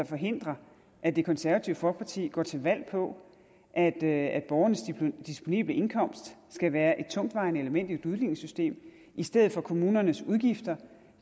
forhindrer at det konservative folkeparti går til valg på at at borgernes disponible indkomst skal være et tungtvejende element i et udligningssystem i stedet for kommunernes udgifter